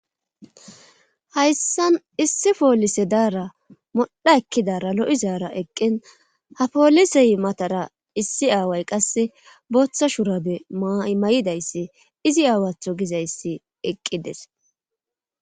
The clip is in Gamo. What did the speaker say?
Hayssan issi poolise daara modha ekkidara lo7i zaara eqqen ha poolisey matara issi aaway qasse booththa shurabe mymay7idayssi izi aawatho gizayssi eqqides